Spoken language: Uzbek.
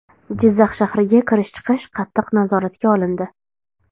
Jizzax shahriga kirish-chiqish qattiq nazoratga olindi.